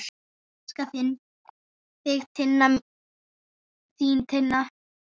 Elska þig, þín Tinna.